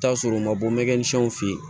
I bi t'a sɔrɔ u ma bɔ mɛkininsiw fen ye